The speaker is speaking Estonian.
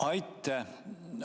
Aitäh!